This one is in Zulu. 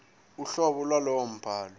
uhlobo lwalowo mbhalo